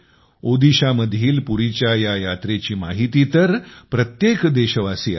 ओदिशामधील पुरीच्या या यात्रेची माहिती तर प्रत्येक देशवासियाला आहे